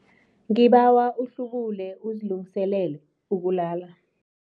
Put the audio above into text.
Ngibawa uhlubule uzilungiselele ukulala.